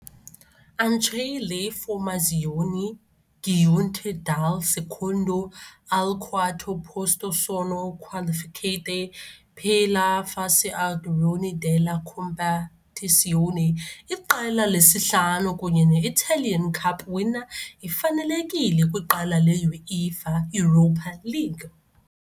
Anche le formazioni giunte dal secondo al quarto posto sono qualificate per la fase a gironi della competizione. Iqela lesihlanu kunye ne-Italian Cup winner ifanelekile kwiqela le-UEFA Europa League.